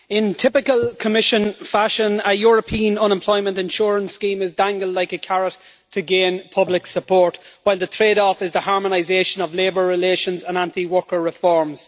Madam President, in typical Commission fashion, a European unemployment insurance scheme is dangled like a carrot to gain public support, while the trade off is the harmonisation of labour relations and anti worker reforms.